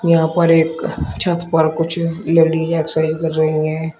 यहां पर एक छत पर कुछ लेडिस एक्सरसाइज कर रही है।